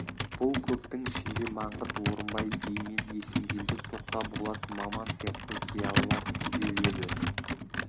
бұл көптің ішінде маңғыт орынбай би мен есенгелді тоқтаболат маман сияқты зиялылар түгел еді